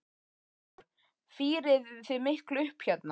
Kristján Már: Fírið þið miklu upp hérna?